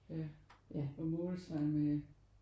Ja og målstregen med